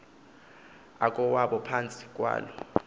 akowabo phantsi kwaloo